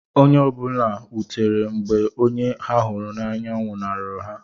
Onye ọ bụla wutere mgbe onye ha hụrụ n’anya nwụnahụrụ ha.